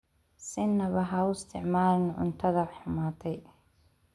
Sinaba ha u isticmaalin cuntada xumaatay.